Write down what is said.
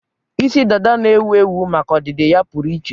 Isi dada na-ewu ewu maka ọdịdị ya pụrụ iche.